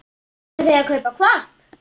Langar þig að kaupa hvolp?